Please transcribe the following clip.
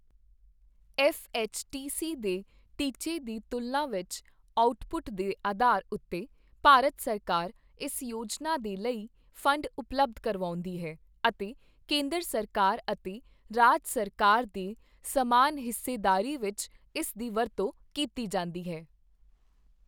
F H T C ਦੇ ਟੀਚੇ ਦੀ ਤੁਲਨਾ ਵਿੱਚ ਆਉਟਪੁੱਟ ਦੇ ਅਧਾਰ ਉੱਤੇ ਭਾਰਤ ਸਰਕਾਰ ਇਸ ਯੋਜਨਾ ਦੇ ਲਈ ਫੰਡ ਉਪਲੱਬਧ ਕਰਵਾਉਂਦੀ ਹੈ ਅਤੇ ਕੇਂਦਰ ਸਰਕਾਰ ਅਤੇ ਰਾਜ ਸਰਕਾਰ ਦੇ ਸਮਾਨ ਹਿੱਸੇਦਾਰੀ ਵਿੱਚ ਇਸ ਦੀ ਵਰਤੋਂ ਕੀਤੀ ਜਾਂਦੀ ਹੈ।